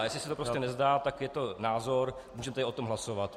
A jestli se to prostě nezdá, tak je to názor, můžeme tady o tom hlasovat.